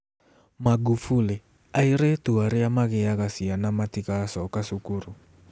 Magufuli: Airĩtu arĩa magĩaga ciana matigacoka cukuru